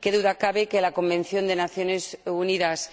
Qué duda cabe de que la Convención de las Naciones Unidas